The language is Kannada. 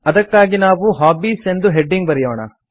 ಅದಕ್ಕಾಗಿ ನಾವು ಹಾಬೀಸ್ ಎಂದು ಹೆಡಿಂಗ್ ಬರೆಯೋಣ